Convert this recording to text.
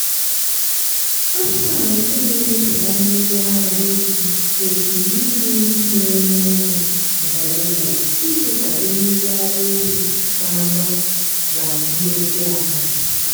anụmanụ ndị na-emepụta mmiri ara ehi kwesiri iri nri na-enye ume nke ukwuu iji kwado mmiri ara ehi na-agba na ndozi ahụ.